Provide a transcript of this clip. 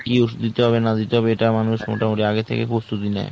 কী ওষুধ দিতে হবে না দিতে হবে এটা মানুষ আগে থেকেই প্রস্তুতি নেই।